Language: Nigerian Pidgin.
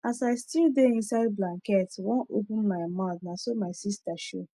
as i still dey inside blanket wan open my mouth naso my sista show